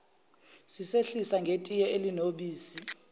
sisehlise ngetiye elinobisi